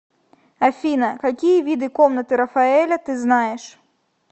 афина какие виды комнаты рафаэля ты знаешь